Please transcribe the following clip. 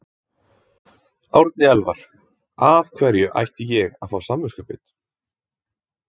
Árni Elvar: Af hverju ætti ég að fá samviskubit?